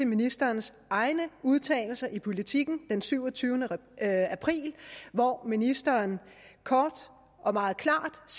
ministerens egne udtalelser i politiken den syvogtyvende april hvor ministeren kort og meget klart